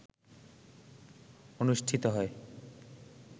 অনুষ্ঠিত হয়